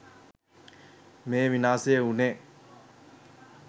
මේ විනාශය වුණේ